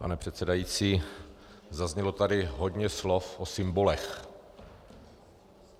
Pane předsedající, zaznělo tady hodně slov o symbolech.